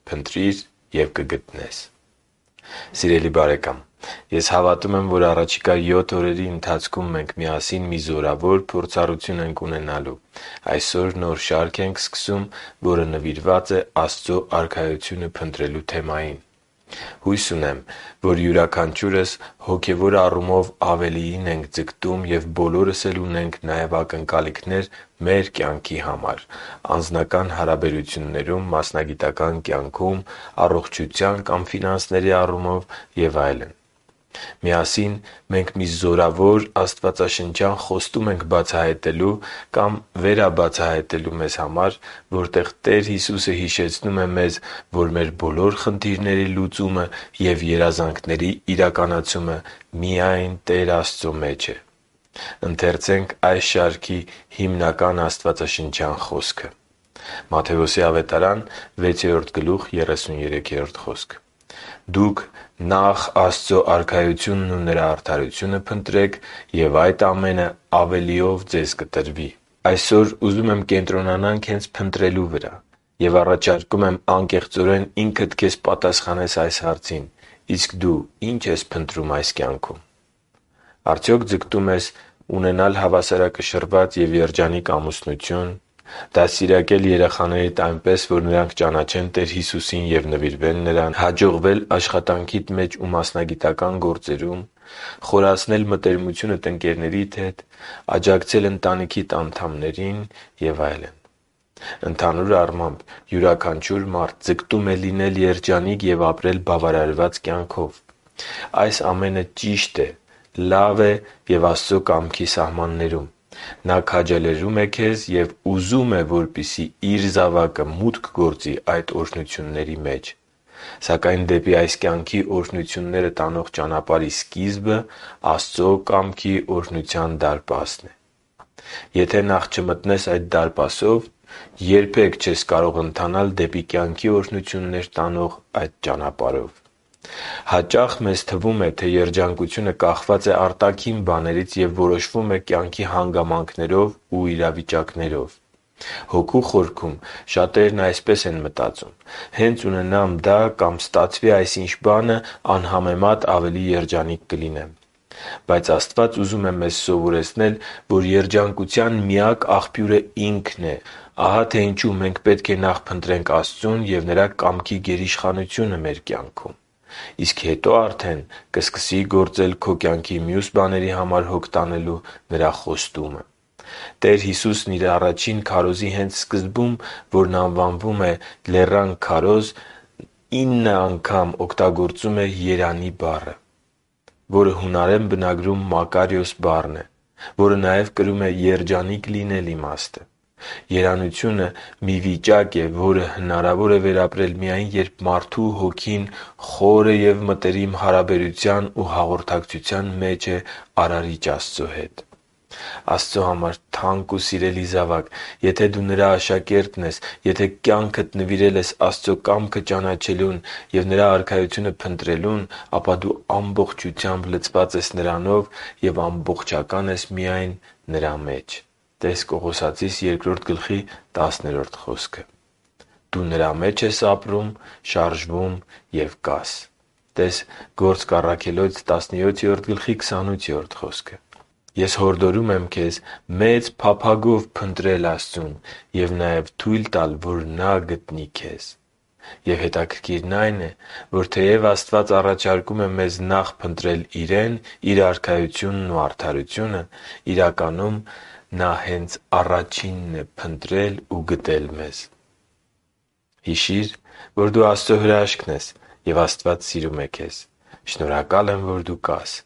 Փնտրի՛ր և կգտնես Սիրելի՛ բարեկամ, ես հավատում եմ, որ առաջիկա յոթ օրերի ընթացքում մենք միասին մի զորավոր փորձառություն ենք ունենալու։ Այսօր նոր շարք ենք սկսում, որը նվիրված է Աստծո Արքայությունը փնտրելու թեմային։ Հույս ունեմ, որ յուրաքանչյուրս հոգևոր առումով ավելիին ենք ձգտում և բոլորս էլ ունենք նաև ակնկալիքներ մեր կյանքի համար՝ անձնական հարաբերություններում, մասնագիտական կյանքում, առողջության կամ ֆինանսների առումով և այլն: Միասին մենք մի զորավոր աստվածաշնչյան խոստում ենք բացահայտելու կամ վերաբացահայտելու մեզ համար, որտեղ Տեր Հիսուսը հիշեցնում է մեզ, որ մեր բոլոր խնդիրների լուծումը և երազանքների իրականացումը միայն Տեր Աստծո մեջ է. Ընթերցե՛նք այս շարքի հիմնական աստվածաշնչյան խոսքը․ «Դուք նախ Աստծու Արքայությունն ու Նրա արդարությո՛ւնը փնտրեք, և այդ ամենը ավելիով ձեզ կտրվի» (Մատթեոս 6.33): Այսօր ուզում եմ կենտրոնանանք հենց փնտրելու վրա, և առաջարկում եմ անկեղծորեն ինքդ քեզ պատասխանես այս հարցին՝ իսկ դու ի՞նչ ես փնտրում այս կյանքում: Արդյոք ձգտո՞ւմ ես․․․ - Ունենալ հավասարակշռված և երջանիկ ամուսնություն, - Դաստիարակել երեխաներիդ՝ այնպես, որ նրանք ճանաչեն Տեր Հիսուսին ու նվիրվեն Նրան, - Հաջողվել աշխատանքիդ մեջ ու մասնագիտական գործերում, - Խորացնել մտերմությունդ ընկերներիդ հետ, - Աջակցել ընտանիքիդ անդամներին… Ընդհանուր առմամբ, յուրաքանչյուր մարդ ձգտում է լինել երջանիկ ու ապրել բավարարված կյանքով։ Այս ամենը ճիշտ է, լավ է և Աստծո կամքի սահմաններում։ Նա քաջալերում է քեզ և ուզում է, որպեսզի Իր սիրելի զավակը մուտք գործի այդ օրհնությունների մեջ: Սակայն դեպի այս կյանքի օրհնություններ տանող ճանապարհի սկիզբը Աստծո կամքի օրհնության դարպասն է: Եթե նախ չմտնես այդ դարպասով, երբե՛ք չես կարող ընթանալ դեպի կյանքի օրհնություններ տանող այդ ճանապարհով։ Հաճախ մեզ թվում է, թե երջանկությունը կախված է արտաքին բաներից և որոշվում է կյանքի հանգամանքներով ու իրավիճակներով։ Հոգու խորքում շատերն այսպես են մտածում. «Հենց ունենամ դա կամ ստացվի այսինչ բանը, անհամեմատ ավելի երջանիկ կլինեմ…»: Բայց Աստված ուզում է մեզ սովորեցնել, որ երջանկության միակ աղբյուրը Ինքն է: Ահա թե ինչու մենք պետք է նախ փնտրենք Աստծուն ու Նրա կամքի գերիշխանությունը մեր կյանքում։ Իսկ հետո արդեն կսկսի գործել քո կյանքի մյուս բաների համար հոգ տանելու Նրա խոստումը։ Տեր Հիսուսն Իր առաջին քարոզի հենց սկզբում, որն անվանում են «Լեռան քարոզը», Նա ինն անգամ օգտագործում է «երանի՜» բառը, որը հունարեն բնագրում «մակարիոս» բառն է, որը նաև կրում է «երջանիկ լինել» իմաստը: Երանությունը մի վիճակ է, որը հնարավոր է վերապրել միայն, երբ մարդու հոգին խորը և մտերիմ հարաբերության ու հաղորդակցության մեջ է Արարիչ Աստծո հետ: Աստծո համար թանկ ու սիրելի զավա՛կ, եթե դու Նրա աշակերտն ես, եթե կյանքդ նվիրել ես Աստծո կամքը ճանաչելուն և Նրա Արքայությունը փնտրելուն, ապա դու ամբողջությամբ լցված ես Նրանով և ամբողջական ես միայն Նրա մեջ (տե՛ս Կողոսացիս 2.10 խոսքը)։ Դու Նրա մեջ ես ապրում, շարժվում և կաս (տե՛ս Գործք 17.28 խոսքը): Ես հորդորում եմ քեզ մեծ փափագով փնտրել Աստծուն և նաև թույլ տալ, որ Նա գտնի քեզ: Եվ հետաքրքիրն այն է, որ թեև Աստված առաջարկում է մեզ՝ նախ փնտրել Իրեն, Իր Արքայությունն ու արդարությունը․ իրականում, Նա հե՛նց առաջինն է փնտրել ու գտել մեզ։ Հիշի՛ր, որ դու Աստծո հրաշքն ես, և Աստված սիրում է քեզ։ Շնորհակալ եմ, որ դու կա՛ս